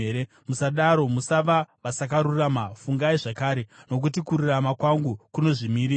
Musadaro, musava vasakarurama; fungai zvakare, nokuti kururama kwangu kuchiripo.